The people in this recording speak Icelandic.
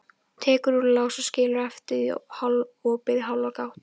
Tekur úr lás og skilur eftir opið í hálfa gátt.